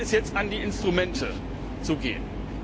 Hier gilt es jetzt, an die Instrumente zu gehen.